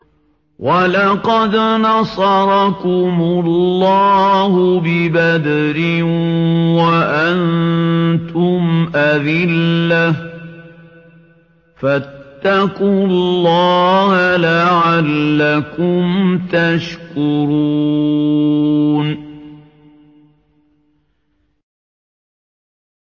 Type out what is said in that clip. وَلَقَدْ نَصَرَكُمُ اللَّهُ بِبَدْرٍ وَأَنتُمْ أَذِلَّةٌ ۖ فَاتَّقُوا اللَّهَ لَعَلَّكُمْ تَشْكُرُونَ